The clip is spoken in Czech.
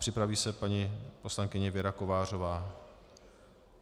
Připraví se paní poslankyně Věra Kovářová.